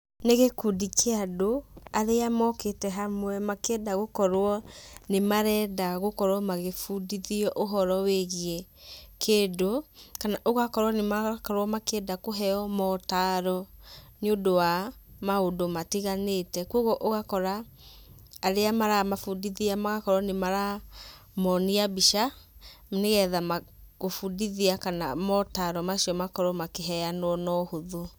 Ni gĩkundi kĩa andũ, arĩa mokĩte hamwe makĩenda gũkorũo nĩmarenda gũkorũo magĩbundithio ũhoro wĩgiĩ kĩndũ, kana ũgakorũo nĩmarokũo makĩenda kũheo maũtaro, nĩũndũ wa, maũndũ matiganĩte. Kuoguo ũgakora, arĩa maramabundithia magakorũo nĩmaramonia mbica, nĩgetha gũbundithia kana maũtaro macio makorũo makĩheanũo na ũhũthũ.